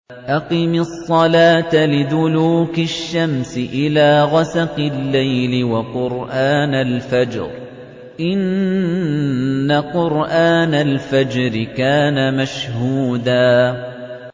أَقِمِ الصَّلَاةَ لِدُلُوكِ الشَّمْسِ إِلَىٰ غَسَقِ اللَّيْلِ وَقُرْآنَ الْفَجْرِ ۖ إِنَّ قُرْآنَ الْفَجْرِ كَانَ مَشْهُودًا